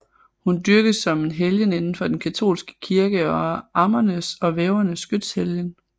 Hun dyrkes som en helgen indenfor den katolske kirke og er ammernes og vævernes skytshelgen